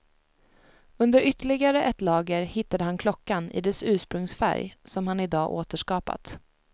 Under ytterligare ett lager hittade han klockan i dess ursprungsfärg som han i dag återskapat.